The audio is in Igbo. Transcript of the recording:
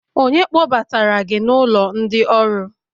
onye kpọbatara gi n'ulo ndi-oru?